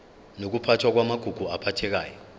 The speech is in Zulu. nokuphathwa kwamagugu aphathekayo